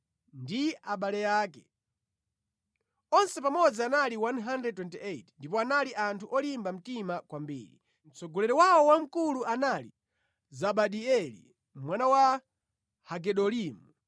ndi abale ake. Onse pamodzi anali 128 ndipo anali anthu olimba mtima kwambiri. Mtsogoleri wawo wamkulu anali Zabidieli mwana wa Hagedolimu.